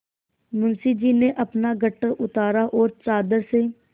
मुंशी जी ने अपना गट्ठर उतारा और चादर से